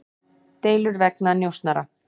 Deilur vegna njósnara